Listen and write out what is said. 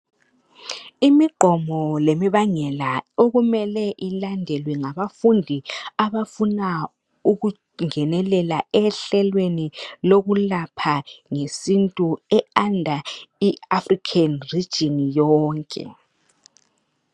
Imigqomo lemibangela okumele ilandelwe ngabafundi abafuna ukungenelela ehlelweni lokulapha ngesintu e under i African region yonke